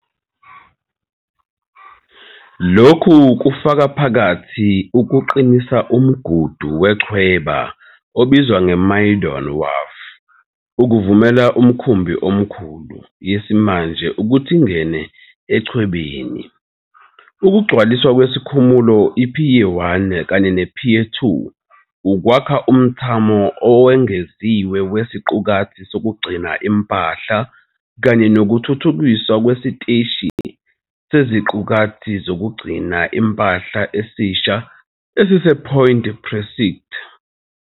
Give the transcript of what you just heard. Lokhu kufaka phakathi ukuqinisa umgudu wechweba obizwa ngeMaydon Wharf ukuvumela imikhumbi emikhulu, yesimanje ukuthi ingene echwebeni, ukugcwaliswa kwesikhumulo i-Pier 1 kanye ne-Pier 2 ukwakha umthamo owengeziwe weziqukathi zokugcina impahla kanye nokuthuthukiswa kwesiteshi seziqukathi zokugcina impahla esisha esisePoint Precinct.